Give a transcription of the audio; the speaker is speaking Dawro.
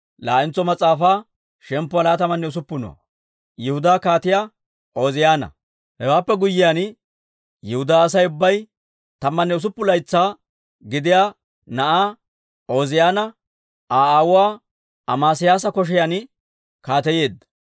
Hewaappe guyyiyaan, Yihudaa Asay ubbay tammanne usuppun laytsaa gidiyaa na'aa, Ooziyaana Aa aawuwaa Amesiyaasa kotaan kaateyeedda.